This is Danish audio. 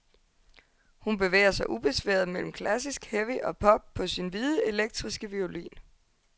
Hun bevæger sig ubesværet mellem klassisk, heavy og pop på sin hvide, elektriske violin.